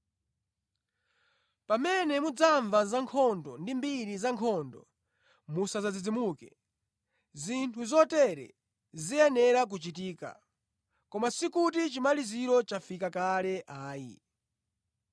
Pamene mudzamva zankhondo ndi mbiri zankhondo, musadzadzidzimuke. Zinthu zotere ziyenera kuchitika, koma sikuti chimaliziro chafika kale ayi.